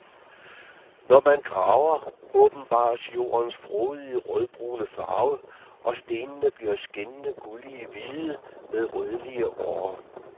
Når man graver, åbenbares jordens frodige rødbrune og stenene bliver skinnende gulligt hvide med rødlige årer.